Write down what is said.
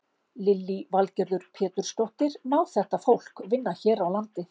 Lillý Valgerður Pétursdóttir: Má þetta fólk vinna hér á landi?